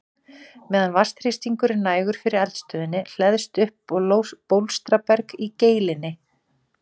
Meðan vatnsþrýstingur er nægur yfir eldstöðinni hleðst upp bólstraberg í geilinni.